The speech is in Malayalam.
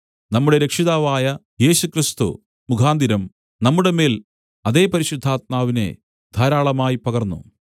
നമ്മുടെ രക്ഷിതാവായ യേശുക്രിസ്തു മുഖാന്തരം നമ്മുടെമേൽ അതേ പരിശുദ്ധാത്മാവിനെ ധാരാളമായി പകർന്നു